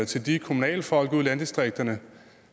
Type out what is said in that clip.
til de kommunale folk ude i landdistrikterne